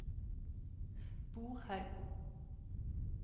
Borhaug